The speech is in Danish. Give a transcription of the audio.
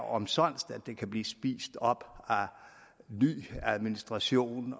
omsonst at det kan blive spist op af ny administration